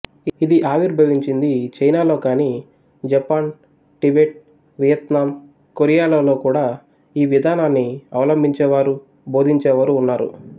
ఇది ఆవిర్భవించింది చైనాలో కానీ జపాన్ టిబెట్ వియత్నాం కొరియా లలో కూడా ఈ విధానాన్ని అవలంభించేవారూ బోధించేవారు ఉన్నారు